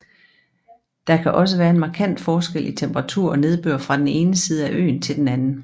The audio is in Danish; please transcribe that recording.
Der kan også være en markant forskel i temperatur og nedbør fra den ene side af øen til den anden